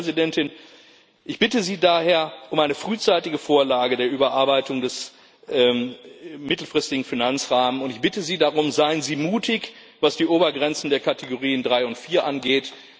Frau Vizepräsidentin, ich bitte Sie daher, um eine frühzeitige Vorlage der Überarbeitung des mittelfristigen Finanzrahmen, und ich bitte Sie darum Seien Sie mutig, was die Obergrenzen der Rubriken 3 und 4 angeht.